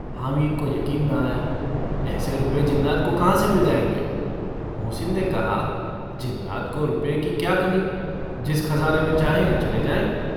हामिद को यकीन न आया। ऐसे रुपये जिन्नात को कहाँ से मिल जाएंगे? मोहसिन ने कहा - जिन्नात को रुपए की क्या कमी। जिस ख़ज़ाने में चाहें. चले जाएँ।